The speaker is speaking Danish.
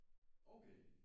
Okay